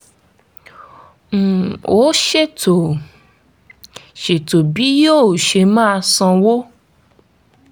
um ó ṣètò ṣètò bí yóò ṣe máa san owó